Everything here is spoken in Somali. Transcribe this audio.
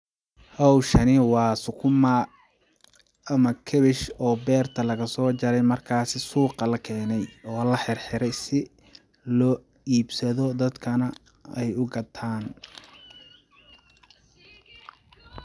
Howshani waa sukumaa ama kabach oo beerta laga soo jare markaasi suuqa lakeene, oo laxirxire si loo iibsado dadka a aay ugataan.